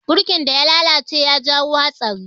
Burkin da ya lalace ya jawo hatsari.